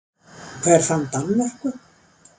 Hver fann Danmörku?